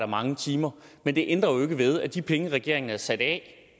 mange timer men det ændrer jo ikke ved at de penge regeringen havde sat af